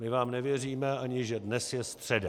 My vám nevěříme, ani že dnes je středa.